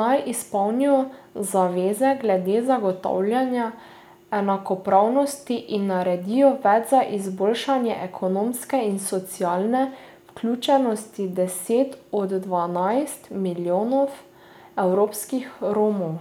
naj izpolnijo zaveze glede zagotavljanja enakopravnosti in naredijo več za izboljšanje ekonomske in socialne vključenosti deset do dvanajst milijonov evropskih Romov.